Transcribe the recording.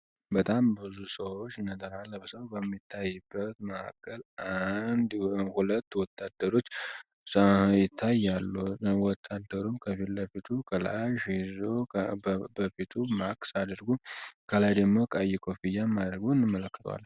በጣም ብዙ ሰዎች ነገራ ለብሰው በሚታይበት መዕከል አንሁለት ወታደሮች ሰይታይ ያሉወታደሩም ከፊት ለፊቱ ከላሽ ሂዙ በፊቱ ማክስ አደርጉ ከላይ ደግሞ ቃይኮ ፊያ ማድረጉን መለክቷል፡፡